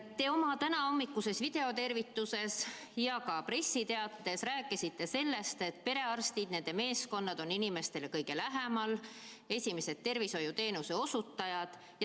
Te oma tänahommikuses videotervituses ja ka pressiteates rääkisite sellest, et perearstid ja nende meeskonnad on inimestele kõige lähemal, nad on esimesed tervishoiuteenuse osutajad.